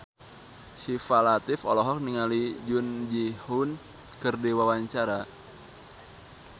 Syifa Latief olohok ningali Jung Ji Hoon keur diwawancara